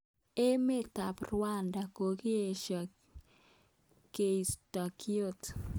Emet ab Rwanda kokiesho koisto kiotok.